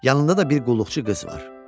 Yanında da bir qulluqçu qız var.